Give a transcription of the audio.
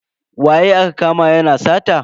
Waye aka kama yana sata?